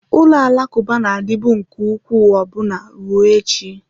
Ụlọ alakụba na-adịbu nke ukwuu ọbụna ruo echi.